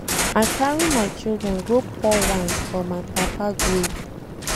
I carry my children go pour wine for my papa grave